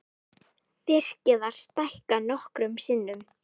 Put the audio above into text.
Virkið var stækkað nokkrum sinnum.